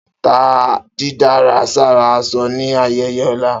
Ta didárà sára aṣọ ni ayẹyẹ ọla!